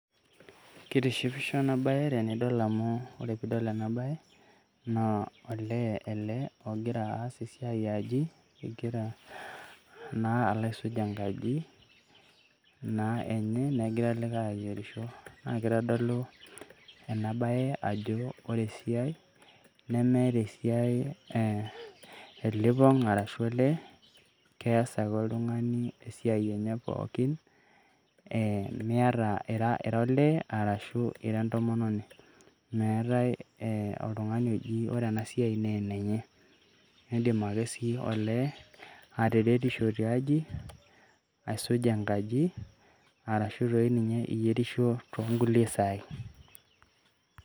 Ketishipisho ena baye tenidol amu ore piidol ena baye naa olee ele ogira aas esiai eee aji egira naa alo aisuj enkaji naa enye, negira likai ayierisho naa kitodolu ena baye ajo ore esiai nemeeta esiai elipong' arashu olee kees ake oltung'ani esiai enye pookin, ira olee arashu entomononi, meetai ee oltung'ani ore ena siai naa enenye, indim ake sii olee ataretisho tiaji aisuj enkaji arashu toi ninye iyierisho toonkulie saai.